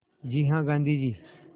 जी हाँ गाँधी जी